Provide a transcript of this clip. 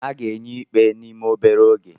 A ga-enye ikpe n'ime obere oge